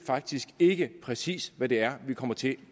faktisk ikke præcis hvad det er vi kommer til